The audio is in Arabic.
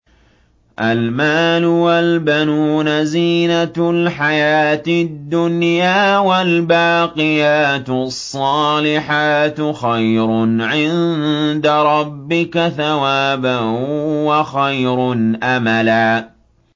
الْمَالُ وَالْبَنُونَ زِينَةُ الْحَيَاةِ الدُّنْيَا ۖ وَالْبَاقِيَاتُ الصَّالِحَاتُ خَيْرٌ عِندَ رَبِّكَ ثَوَابًا وَخَيْرٌ أَمَلًا